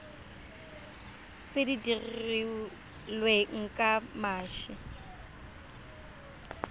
tse di dirilweng ka mashi